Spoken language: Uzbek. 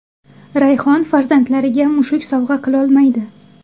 Rayhon farzandlariga mushuk sovg‘a qilolmaydi!